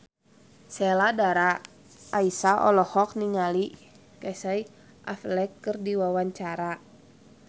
Sheila Dara Aisha olohok ningali Casey Affleck keur diwawancara